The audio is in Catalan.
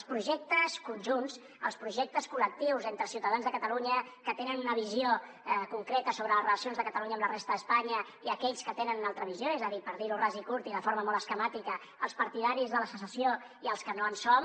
els projectes conjunts els projectes col·lectius entre ciutadans de catalunya que tenen una visió concreta sobre les relacions de catalunya amb la resta d’espanya i aquells que tenen una altra visió és a dir per dir ho ras i curt i de forma molt esquemàtica els partidaris de la secessió i els que no en som